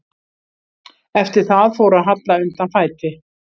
Eftir það fór að halla undan fæti.